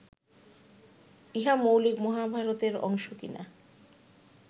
ইহা মৌলিক মহাভারতের অংশ কি না